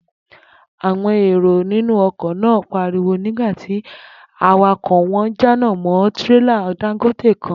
Àwo̩n èrò inú o̩kò̩ náà pariwo̩ nígbà tí awakò̩ wo̩n jánà mó̩ tírélà Dangote kan